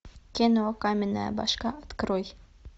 кино каменная башка открой